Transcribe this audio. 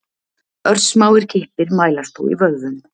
Örsmáir kippir mælast þó í vöðvum.